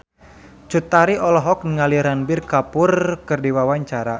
Cut Tari olohok ningali Ranbir Kapoor keur diwawancara